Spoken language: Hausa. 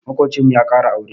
Maƙocinmu ya ƙara aure.